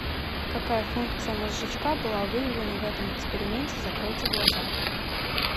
какая функция мозжечка была выявлена в этом эксперименте закройте глаза